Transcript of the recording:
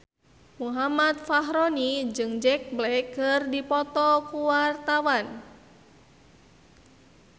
Muhammad Fachroni jeung Jack Black keur dipoto ku wartawan